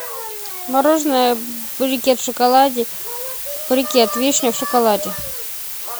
мороженое брикет в шоколаде брикет вишня в шоколаде